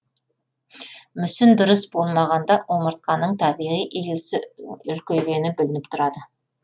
мүсін дұрыс болмағанда омыртқаның табиғи иілісі үлкейгені білініп тұрады